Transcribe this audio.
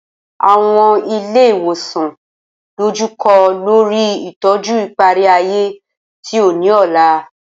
Awọn ile iwosan dojukọ lori itọju ipari-aye ti o ni ọla.